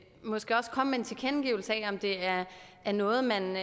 måske også komme med en tilkendegivelse af om det er er noget man